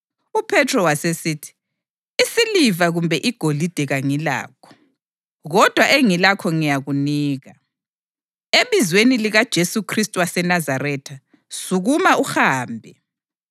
UPhethro wasesithi, “Isiliva kumbe igolide kangilakho, kodwa engilakho ngiyakunika. Ebizweni likaJesu Khristu waseNazaretha, sukuma uhambe.”